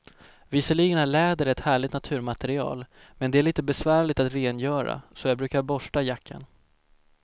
Visserligen är läder ett härligt naturmaterial, men det är lite besvärligt att rengöra, så jag brukar borsta jackan.